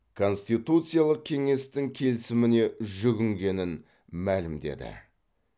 конституциялық кеңестің келісіміне жүгінгенін мәлімдеді